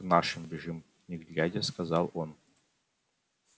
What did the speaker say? к нашим бежим не глядя сказал он